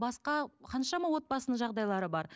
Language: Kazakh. басқа қаншама отбасының жағдайлары бар